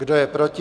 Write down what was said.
Kdo je proti?